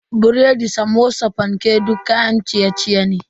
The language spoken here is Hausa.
Biredi, Samosa, fanke duk kayan ciye-ciye ne.